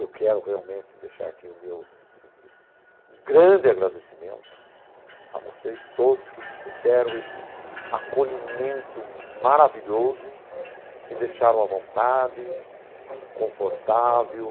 Eu quero realmente deixar aqui o meu grande agradecimento a vocês todos que me deram esse acolhimento maravilhoso, me deixaram à vontade, confortável,